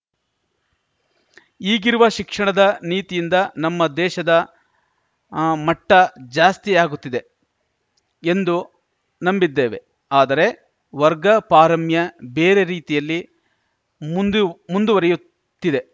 ಈಗಿರುವ ಶಿಕ್ಷಣದ ನೀತಿಯಿಂದ ನಮ್ಮ ದೇಶದ ಮಟ್ಟಜಾಸ್ತಿ ಆಗುತ್ತಿದೆ ಎಂದು ನಂಬಿದ್ದೇವೆ ಆದರೆ ವರ್ಗ ಪಾರಮ್ಯ ಬೇರೆ ರೀತಿಯಲ್ಲಿ ಮುಂದು ಮುಂದುವರಿಯುತ್ತಿದೆ